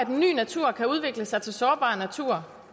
ny natur kan udvikle sig til sårbar natur